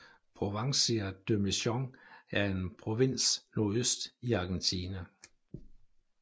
Provincia de Misiones er en provins nordøst i Argentina